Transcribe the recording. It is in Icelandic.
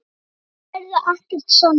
Um það verður ekkert sannað.